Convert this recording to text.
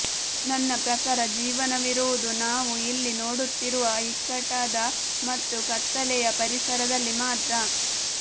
ನನ್ನ ಪ್ರಕಾರ ಜೀವನವಿರುವುದು ನಾವು ಇಲ್ಲಿ ನೋಡುತ್ತಿರುವ ಇಕ್ಕಟ್ಟಾದ ಮತ್ತು ಕತ್ತಲೆಯ ಪರಿಸರದಲ್ಲಿ ಮಾತ್ರ